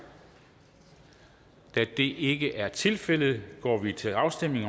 da det ikke er tilfældet går vi til afstemning